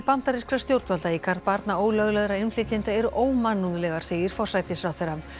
bandarískra stjórnvalda í garð barna ólöglegra innflytjenda eru ómannúðlegar segir forsætisráðherra